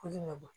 Koli ma bɔ